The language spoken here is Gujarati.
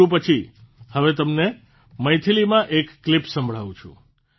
તેલુગુ પછી હવે હું તમને મૈથિલીમાં એક ક્લીપ સંભળાવું છું